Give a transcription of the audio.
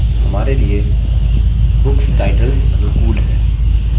हमारे लिए books titles अनुकूल हैं